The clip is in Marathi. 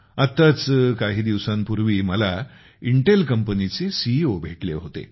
आत्ताच काही दिवसांपूर्वी मला इंटेल कंपनी चे सीईओ भेटले होते